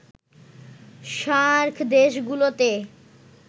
SAARC দেশগুলোতে